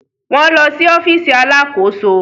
Wọn lọ si ọfiisi alàkóso